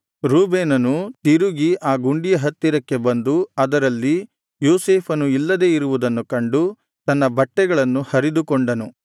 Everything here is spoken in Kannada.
ರೂಬೇನನು ತಿರುಗಿ ಆ ಗುಂಡಿಯ ಹತ್ತಿರಕ್ಕೆ ಬಂದು ಅದರಲ್ಲಿ ಯೋಸೇಫನು ಇಲ್ಲದೆ ಇರುವುದನ್ನು ಕಂಡು ತನ್ನ ಬಟ್ಟೆಗಳನ್ನು ಹರಿದುಕೊಂಡನು